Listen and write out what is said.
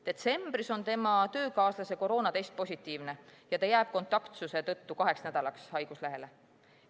Detsembris on tema töökaaslase koroonatest positiivne ja ta jääb kontaktsuse tõttu kaheks nädalaks haiguslehele.